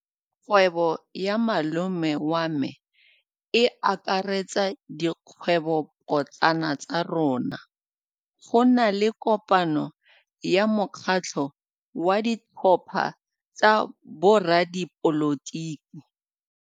Kgwêbô ya malome wa me e akaretsa dikgwêbôpotlana tsa rona. Go na le kopanô ya mokgatlhô wa ditlhopha tsa boradipolotiki.